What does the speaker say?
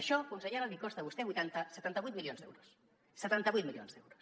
això consellera li costa a vostè setanta vuit milions d’euros setanta vuit milions d’euros